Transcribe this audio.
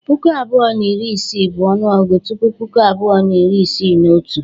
Puku abụọ na iri isii bụ ọnụọgụ tupu Puku abụọ na iri isii na otu.